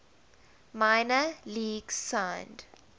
minor leagues signed